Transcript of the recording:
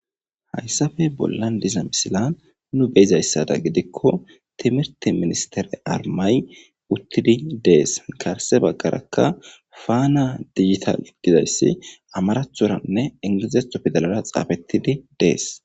Hayssappe bollara diza misilan nu be'izayssa gidikko timirte ministere armmay uttidi de'es. Garsse baggarakka fana dijitale gizays amaraththoranne ingilizeththo pidaalera xaafetidi dees.